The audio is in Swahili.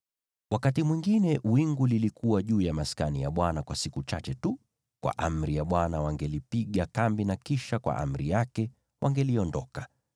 Wakati mwingine wingu lilikuwa juu ya Maskani kwa siku chache tu; kwa amri ya Bwana wangelipiga kambi na kisha kwa amri yake wangeliondoka.